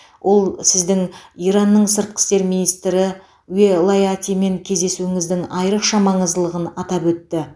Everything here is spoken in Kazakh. ол сіздің иранның сыртқы істер министрі уелаятимен кездесуіңіздің айрықша маңыздылығын атап өтті